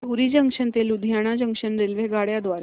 धुरी junction ते Ludhiana junction रेल्वेगाड्यां द्वारे